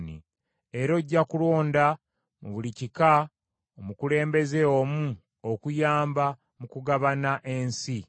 Era ojja kulonda mu buli kika omukulembeze omu okuyamba mu kugabana ensi.